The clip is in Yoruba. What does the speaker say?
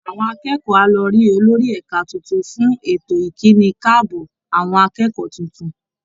Àwọn akẹ́kọ̀ọ́ á lọ rí olórí ẹ̀ka tuntun fún ètò ìkíni káàbọ̀ àwọn akẹ́kọ̀ọ́ tuntun